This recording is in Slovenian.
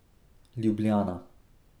Ljubljana.